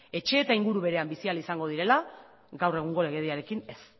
etxe eta inguru berean bizi ahal izango direla gaur egungo legediarekin ez